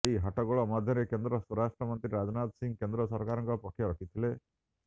ଏହି ହଟ୍ଟଗୋଳ ମଧ୍ୟରେ କେନ୍ଦ୍ର ସ୍ୱରାଷ୍ଟ୍ର ମନ୍ତ୍ରୀ ରାଜନାଥ ସିଂହ କେନ୍ଦ୍ର ସରକାରଙ୍କ ପକ୍ଷ ରଖିଥିଲେ